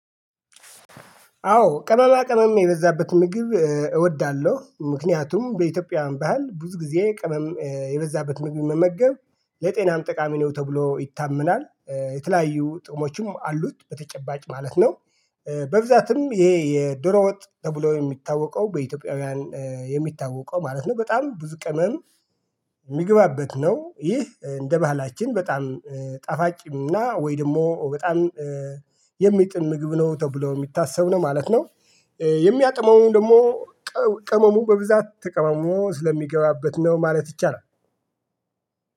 አዎ ቅመማ ቅመም የበዛበት ምግብ እወዳለሁ ምክንያቱም በኢትዮጵያ ባህል ብዙ ጊዜ ቅመም የበዛበት ምግብ መመገብ ለጤናም ጠቃሚ ነው ተብሎ ይታመናል። የተለያዩ ጥሞችም አሉት በተጨባጭ ማለት ነው። በብዛትም ይሄ የዶሮ ወጥ ተብሎ የሚታወቀው በኢትዮጵያውያን የሚታወቀው ማለት ነው በጣም ብዙ ቅመም የሚገባበት ነው። ይህ እንደ ባህላችን በጣም ጣፋጭም እና ወይ ደግሞ በጣም የሚጥም ምግብ ነው ተብሎ የሚታሰብ ነው ማለት ነው። የሚያጥመውን ደግሞ ቅመሙ በብዛት ተቀመሙ ስለሚገባበት ነው ማለት ይቻላል።